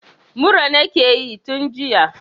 Mura nakeyi tun jiya